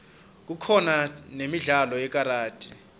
kukhona nemidlalo yekaradi